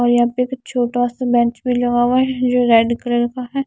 और यहां पे एक छोटा सा बेंच भी लगा हुआ है जो रेड कलर का है।